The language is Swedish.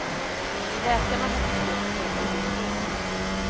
Läkarna har byggt upp den inifrån.